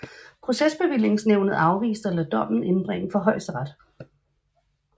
Procesbevillingsnævnet afviste at lade dommen indbringe for Højesteret